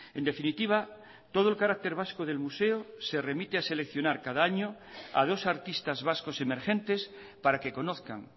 en definitiva todo el carácter vasco del museo se remite a seleccionar cada año a dos artistas vascos emergentes para que conozcan